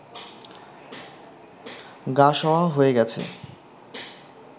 গা-সওয়া হয়ে গেছে